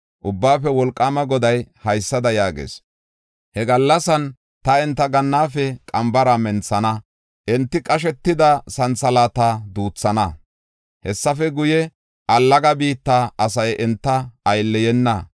Ubbaafe Wolqaama Goday haysada yaagees: “He gallasan ta enta gannaafe qambara menthana; enti qashetida santhalaata duuthana. Hessafe guye, allaga biitta asay enta aylleyena.